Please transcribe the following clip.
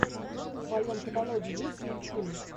в твоем каталоге есть мультфильм